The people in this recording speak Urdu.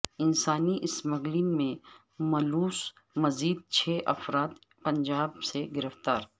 انسانی اسمگلنگ میں ملوث مزید چھ افراد پنجاب سے گرفتار